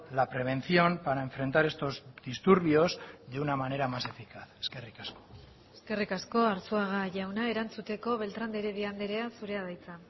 la prevención para enfrentar estos disturbios de una manera más eficaz eskerrik asko eskerrik asko arzuaga jauna erantzuteko beltrán de heredia andrea zurea da hitza